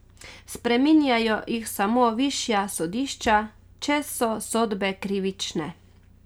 Spreminjajo jih samo višja sodišča, če so sodbe krivične.